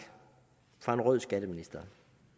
fra en rød skatteminister